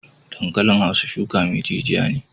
Dankalin hausa shuki mai jijiya ne.